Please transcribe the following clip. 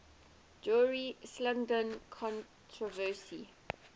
dorje shugden controversy